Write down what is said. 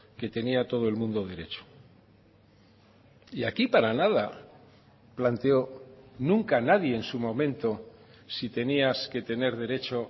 que tenía todo el mundo derecho y aquí para nada planteó nunca nadie en su momento si tenías que tener derecho